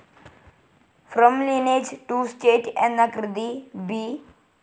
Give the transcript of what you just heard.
From lineage to state എന്ന കൃതി B.